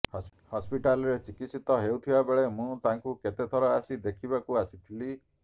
ହସ୍ପିଟାଲ୍ରେ ଚିକିତ୍ସିତ ହେଉଥିବାବେଳେ ମୁଁ ତାଙ୍କୁ କେତେଥର ଆସି ଦେଖିବାକୁ ଆସିଥିଲି